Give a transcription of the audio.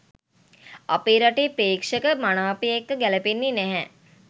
අපේ රටේ ප්‍රේක්ෂක මනාපය එක්ක ගැලපෙන්න නැහැ.